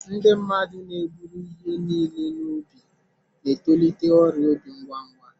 Ndị mmadụ na-eburu ihe niile n'obi na-etolite ọrịa obi ngwa ngwa.